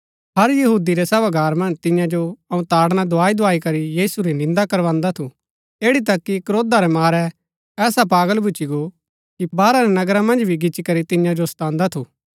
हर यहूदी रै सभागार मन्ज तियां जो अऊँ ताड़ना दुआई दुआई करी यीशु री निन्दा करवान्दा थु ऐड़ी तक कि क्रोधा रै मारै ऐसा पागल भूच्ची गो कि बाहर रै नगरा मन्ज भी गिचीकरी तियां जो सतान्दा थु